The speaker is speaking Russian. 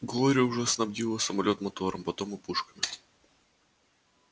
глория уже снабдила самолёт мотором потом и пушками